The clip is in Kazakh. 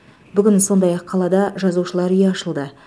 бүгін сондай ақ қалада жазушылар үйі ашылды